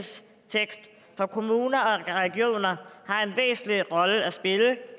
for kommuner og regioner har en væsentlig rolle at spille